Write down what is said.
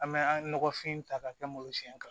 An bɛ an nɔgɔfin ta k'a kɛ malo siɲɛ kan